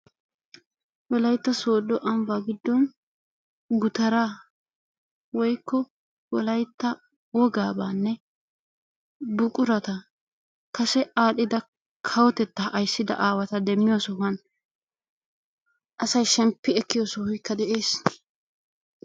Wolayitta sooddo ambbaa giddon gutaraa woykko wolayitta wogaabaanne buqurata kase aadhdhida kawotettaa ayssida awaata demmiyo sohuwan asay shemppi ekkiyo sohoykka de'ees.